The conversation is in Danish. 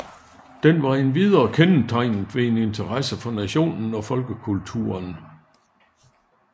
Den var endvidere kendetegnet ved en interesse for nationen og folkekulturen